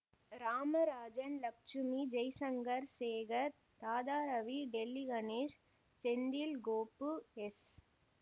Ramarajan Lakshmi Jaishankar Sekar Radharavi Delhi Ganesh Senthil Gopu S